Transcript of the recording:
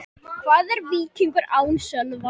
Hvað er Víkingur án Sölva?